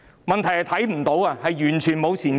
問題是，我們完全看不到前景。